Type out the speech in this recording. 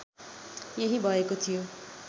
यही भएको थियो